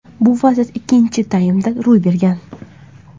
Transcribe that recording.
Bu vaziyat ikkinchi taymda ro‘y bergan.